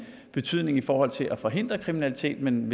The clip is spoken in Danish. betydning i forhold til at forhindre kriminalitet at man